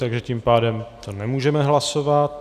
Takže tím pádem to nemůžeme hlasovat.